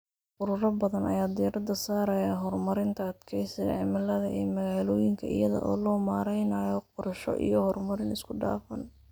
Ururo badan ayaa diiradda saaraya horumarinta adkeysiga cimilada ee magaalooyinka iyada oo loo marayo qorshe iyo horumarin isku dhafan.